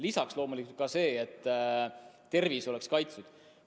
Lisaks loomulikult ka see, et tervis oleks kaitstud.